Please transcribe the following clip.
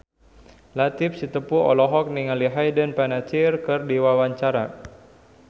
Latief Sitepu olohok ningali Hayden Panettiere keur diwawancara